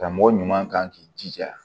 Karamɔgɔ ɲuman kan k'i jija